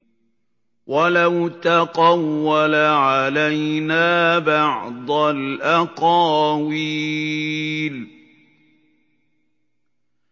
وَلَوْ تَقَوَّلَ عَلَيْنَا بَعْضَ الْأَقَاوِيلِ